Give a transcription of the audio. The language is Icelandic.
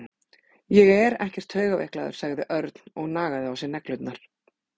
Ég er ekkert taugaveiklaður sagði Örn og nagaði á sér neglurnar.